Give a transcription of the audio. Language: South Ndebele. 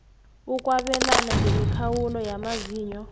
ukwabelana ngemikhawulo yamazinyo